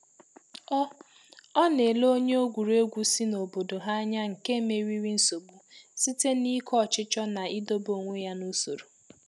Ọ Ọ na-ele onye egwuregwu si n’obodo ha anya nke meriri nsogbu site n’ike ọchịchọ na idobe onwe ya n’usoro.